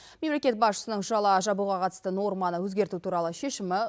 мемлекет басшысының жала жабуға қатысты норманы өзгерту туралы шешімі